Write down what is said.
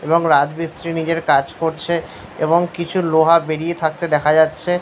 এবং রাজমিস্ত্রি নিজের কাজ করছে এবং কিছু লোহা বেড়িয়ে থাকতে দেখা যাচ্ছে।